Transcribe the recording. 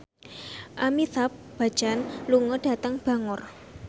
Amitabh Bachchan lunga dhateng Bangor